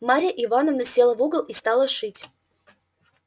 марья ивановна села в угол и стала шить